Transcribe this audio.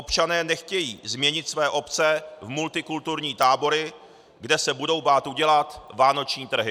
Občané nechtějí změnit své obce v multikulturní tábory, kde se budou bát udělat vánoční trhy.